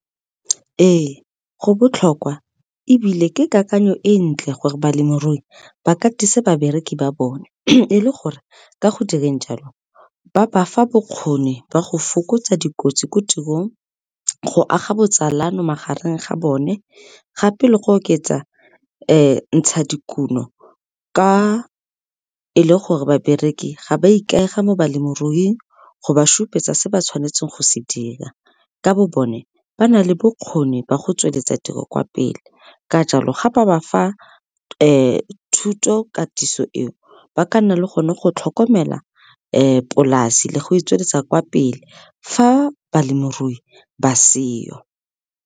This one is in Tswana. Ee, go botlhokwa ebile ke kakanyo e ntle gore balemirui ba katise babereki ba bone e le gore ka go direng jalo ba bafa bokgoni ba go fokotsa dikotsi ko tirong, go aga botsalano magareng ga bone gape le go oketsa ntshadikuno ka e le gore babereki ga ba ikaega mo balemiruing go ba supetsa se ba tshwanetseng go se dira ka bo bone ba nale bokgoni ba go tsweletsa tiro kwa pele ka jalo ga ba bafa thuto katiso eo ba ka nna le gone go tlhokomela polase le go e tsweletsa kwa pele fa balemirui ba seyo.